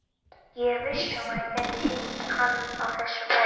Ég er viss um að ég gæti hitt hann á þessu færi.